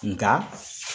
Nka